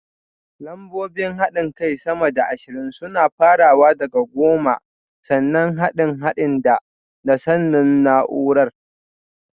Lambobin haɗin kai sama da ashirin suna farawa da goma, sannan haɗin haɗin da (da), sannan naúrar